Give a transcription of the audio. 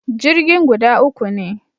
Jirgin guda uku ne